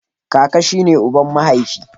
Kaka shi ne uban mahaifi.